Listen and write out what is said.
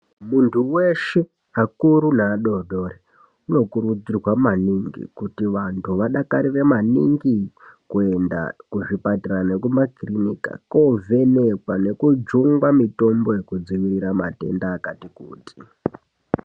Muntu weshe akuru nevadodori vanokurudzirwa maningi kuti vanhu vadakarire maningi keuenda kuzvipatara nemakiriniki kuovhenekwa nekujungwa mutombo yekud, ivirira matenda akati kuti.